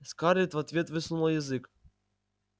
скарлетт в ответ высунула язык